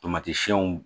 Tomati siɛnw